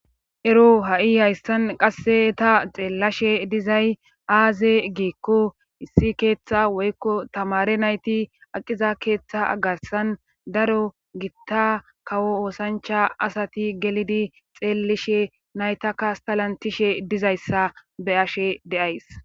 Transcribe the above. ero ha7i haystan qasse ta xeellashe dizay aaze geekko issi keeththa woykko tamare nayti aqiza keeththa agasan daro gitta kawo oosancha asati gelidi xeelishe naytaka stalantishe dizayssa be ashe deays